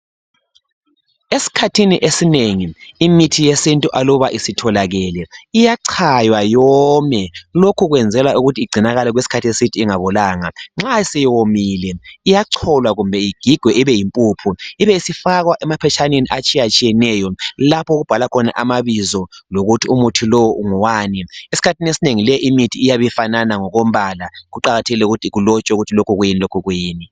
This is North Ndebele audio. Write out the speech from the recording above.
esikhathi esinengi imithi yesintu aluba isitholakele iyachaywa yome lokhukwenzelwa ukuthi igcinakale okwesikhathi eside ingabolanga nxa isiwomile iyacholwa kumbe igigwe ibe yimpuphu ibe isifakwa emaphatshaneni atshiyeneyo lapho okubhalwa khona amabizo lokuthi umuthi lowu ngowani esikhathini esinengi leyi imithi iyabe ifanana ngokombala kuqakathekile ukuthiilotshwe ukuthi lokhu kuyini lokhu kuyini